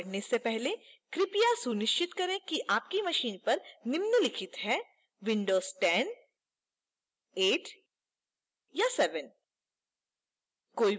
आगे बढ़ने से पहले कृपया सुनिश्चित करें कि आपके machine पर निम्नलिखित है